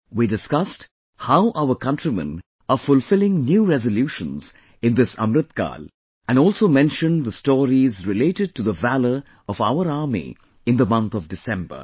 We discussed how our countrymen are fulfilling new resolutions in this AmritKaal and also mentioned the stories related to the valour of our Army in the month of December